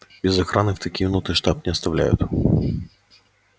без охраны в такие минуты штаб не оставляют